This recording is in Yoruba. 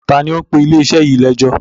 Ta ni ó ń pe ilé-iṣẹ́ yìí lẹ́jọ́?